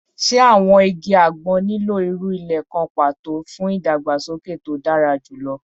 Ṣe awọn igi agbon nilo iru ile kan pato fun idagbasoke to dara julọ?